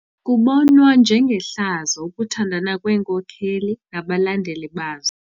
Kubonwa njengehlazo ukuthandana kweenkokeli nabalandeli bazo.